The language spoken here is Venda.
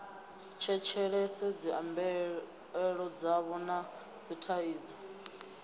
tshetshelese dzimbilaelo dzavho na dzithaidzo